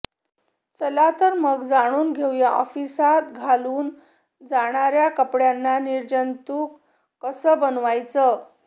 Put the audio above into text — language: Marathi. चला तर मग जाणून घेऊया ऑफिसात घालून जाणार्या कापड्यांना निर्जंतुक कसं बनवायचं